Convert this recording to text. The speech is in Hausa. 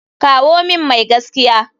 Kawo min mai gaskiya.